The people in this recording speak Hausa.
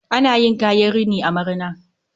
Ana yin kayan rini a marina